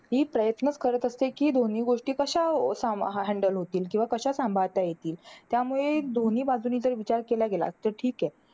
ती प्रयत्न करत असते, कि दोन्ही गोष्टी कशा अं सांभाळ अं handle होतील. किंवा कशा सांभाळता येतील. त्यामुळे दोन्ही बाजूंनी जर विचार केला गेला. तर ठीके.